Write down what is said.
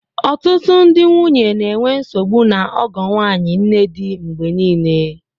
Ọtụtụ ndị nwunye na-enwe nsogbu na ọgọ nwanyị, nnedi mgbe niile